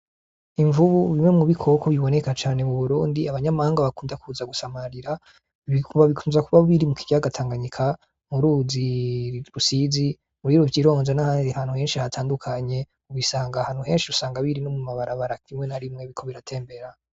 Imvubu ,imwe mubikoko biboneka cane mu Burundi, abanyamahanga bakunda kuza gusamarira, bikunze kuba biri mu ikiyaga Tanganyika, m'uruzi Rusizi, muri Ruvyironza n'ahandi hantu henshi hatandukanye ubisanga henshi usanga biri no mum' amabarabara rimwe na rimwe biriko biratembera.